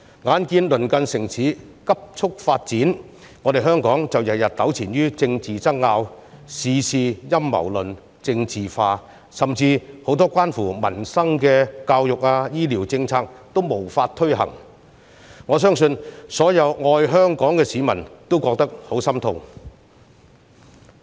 眼見鄰近城市急速發展，香港卻天天糾纏於政治爭拗，事事陰謀論、政治化，甚至很多關乎民生、教育和醫療的政策均無法推行，我相信所有愛香港的市民都感到十分心痛。